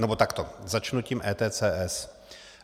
Nebo takto, začnu tím ETCS.